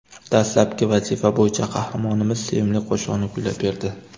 Dastlabki vazifa bo‘yicha qahramonimiz sevimli qo‘shig‘ini kuylab berdi.